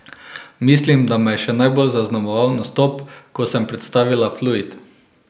Mislim, da me je še najbolj zaznamoval nastop, ko sem predstavila Fluid.